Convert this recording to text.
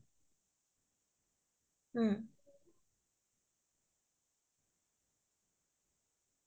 বহুত ভাল লাগিলে চিনেমাখন চাই নতুন কৈ এটা ধৰণা লৈ পেলাই চিনেমাখন বনাইছে